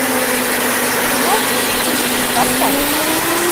из тринадцати в тридцать поставь